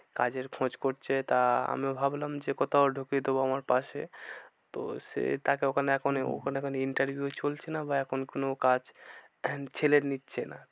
কাজের খোঁজ করছে তা আমিও ভাবলাম যে কোথাও ঢুকিয়ে দেবো আমার পাশে তো সে তাকে ওখানে এখন, ওখানে এখন interview চলছে না বা এখন কোনো কাজ আহ ছেলে নিচ্ছে না।